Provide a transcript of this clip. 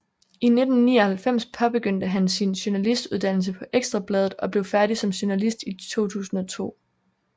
I 1999 påbegyndte han sin journalistuddannelse på Ekstra Bladet og blev færdig som journalist i 2002